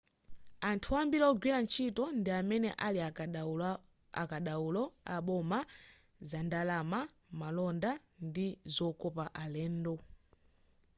anthu ambiri wogwira ntchito ndi amene ali akadaulo aboma zandalama malonda ndi zokopa alendo